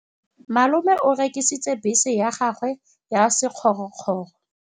Malome o rekisitse bese ya gagwe ya sekgorokgoro.